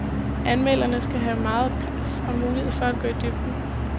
Anmelderne skal have mere plads og mulighed for at gå i dybden.